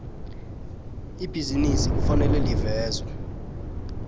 ibhizinisi kufanele livezwe